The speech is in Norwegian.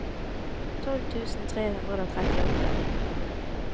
tolv tusen tre hundre og trettiåtte